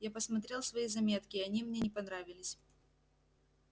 я посмотрел свои заметки и они мне не понравились